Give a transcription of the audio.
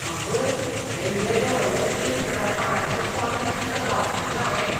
आवय, हें येदें व्हडलें एक हजार पानांचें पोरणें पुस्तक वाचपाचें हावें!